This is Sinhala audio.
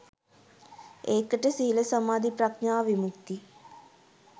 ඒකට සීල සමාධි ප්‍රඥා විමුක්ති